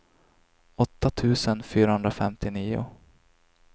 åtta tusen fyrahundrafemtionio